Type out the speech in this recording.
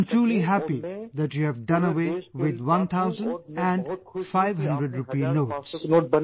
I am truly happy that you have done away with 1000 and 500 rupee notes